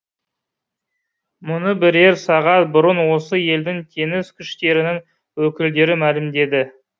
мұны бірер сағат бұрын осы елдің теңіз күштерінің өкілдері мәлімдеді